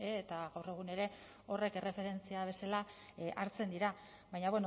eta gaur egun ere horrek erreferentzia bezala hartzen dira baina